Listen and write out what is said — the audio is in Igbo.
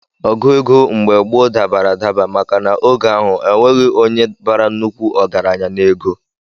Ogu ego mgbe gboo dabara adaba maka na oge ahụ enweghị onye bara nnukwu ọgaranya n'ego